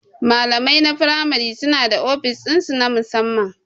Malamai na firamare suna da ofis ɗinsu na musamman.